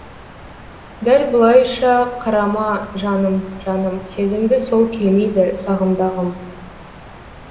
дәл бұлайша қарама жаным жаным сезімді сол келмейді сағымдағым